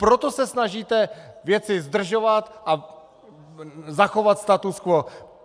Proto se snažíte věci zdržovat a zachovat status quo.